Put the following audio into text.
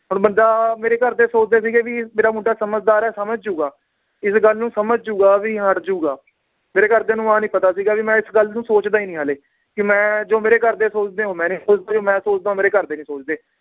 ਹੁਣ ਬੰਦਾ ਮੇਰੇ ਘਰਦੇ ਸੋਚਦੇ ਸੀਗੇ ਵੀ ਮੇਰਾ ਮੁੰਡਾ ਸਮਝਦਾਰ ਏ ਸਮਝ ਜਾਊਗਾ, ਇਸ ਗੱਲ ਨੂੰ ਸਮਝ ਜਾਊਗਾ ਵੀ ਹੱਟ ਜਾਊਗਾ ਮੇਰੇ ਘਰਦਿਆਂ ਨੂੰ ਆਹ ਨੀ ਪਤਾ ਸੀਗਾ ਵੀ ਮੈ ਇਸ ਗੱਲ ਨੂੰ ਸੋਚਦਾ ਈ ਨੀ ਹਾਲੇ ਕਿ ਮੈ ਜੋ ਮੇਰੇ ਘਰਦੇ ਸੋਚਦੇ ਏ ਉਹ ਮੈ ਨੀ ਸੋਚਦਾ ਜੋ ਮੈ ਸੋਚਦਾਂ ਉਹ ਮੇਰੇ ਘਰਦੇ ਨੀ ਸੋਚਦੇ